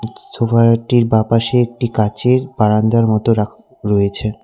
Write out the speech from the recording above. উ সোফায়াটির বাঁ পাশে একটি কাঁচের বারান্দার মত রা রয়েছে।